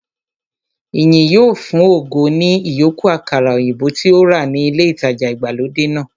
Ìyìn yóò fun ògo ní ìyókù àkàrà òyìnbó tí ó rà ní ilé ìtajà ìgbàlódé náà